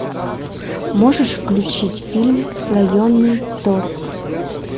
можешь включить фильм слоеный торт